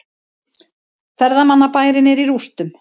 Ferðamannabærinn er í rústum